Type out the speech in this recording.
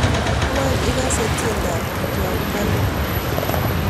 Wany igase tiendab jua kali